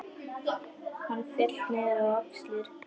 Hárið féll niður á axlir.